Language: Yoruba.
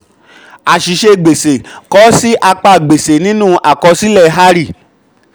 àṣìṣe gbèsè: kọ ọ sí apá gbèsè nínú àkosílẹ hari.